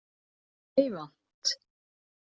Meyvant